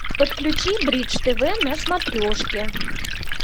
подключи бридж тв на смотрешке